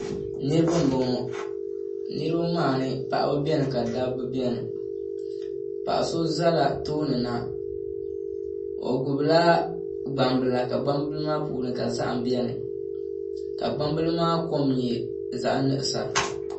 Niraba n bɔŋɔ niraba maa ni paɣaba biɛni ka dabba biɛni paɣa so ʒɛla tooni na o gbubila gbambila ka gbambili maa puuni ka zaham biɛni ka gbambili maa kom nyɛ zaɣ nuɣsa